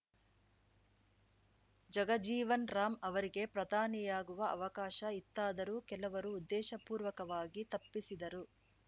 ಜಗಜೀವನ್ ರಾಂ ಅವರಿಗೆ ಪ್ರಧಾನಿಯಾಗುವ ಅವಕಾಶ ಇತ್ತಾದರೂ ಕೆಲವರು ಉದ್ದೇಶಪೂರ್ವಕವಾಗಿ ತಪ್ಪಿಸಿದರು